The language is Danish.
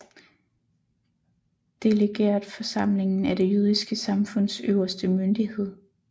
Delegeretforsamlingen er det jødiske samfunds øverste myndighed